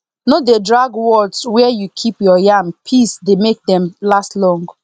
no dey drag words where you keep your yam peace dey make them last long